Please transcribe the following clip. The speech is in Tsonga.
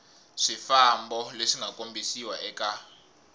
swifambo leswi nga kombisiwa eka